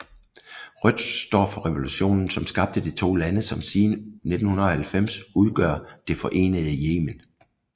Rødt står for revolutionen som skabte de to lande som siden 1990 udgør det forenede Yemen